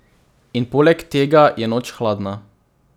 In poleg tega je noč hladna.